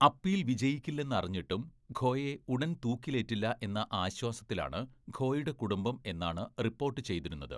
Appeal വിജയിക്കില്ലെന്ന് അറിഞ്ഞിട്ടും ഖോയെ ഉടൻ തൂക്കിലേറ്റില്ല എന്ന ആശ്വാസത്തിലാണ് ഖോയുടെ കുടുംബം എന്നാണ് റിപ്പോർട്ട് ചെയ്തിരുന്നത്.